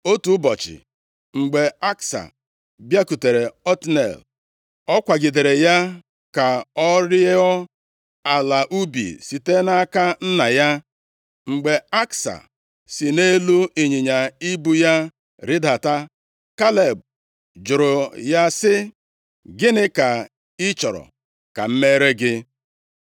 Otu ụbọchị, mgbe Aksa bịakwutere Otniel, ọ kwagidere ya ka ọ rịọọ ala ubi site nʼaka nna ya. + 15:18 \+xt Nkp 1:14\+xt* Mgbe Aksa si nʼelu ịnyịnya ibu ya rịdata, Kaleb jụrụ ya sị, “Gịnị ka ị chọrọ ka m mere gị?”